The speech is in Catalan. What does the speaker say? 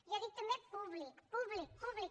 jo dic també públic públic públic